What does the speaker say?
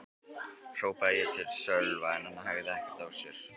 hrópaði ég til Sölva en hann hægði ekki á sér.